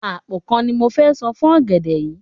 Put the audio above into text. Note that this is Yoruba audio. Àpò kan ni mo fẹ san fún ọ̀gẹ̀dẹ̀ yìí.